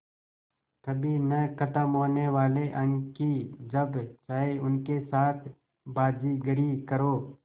कभी न ख़त्म होने वाले अंक कि जब चाहे उनके साथ बाज़ीगरी करो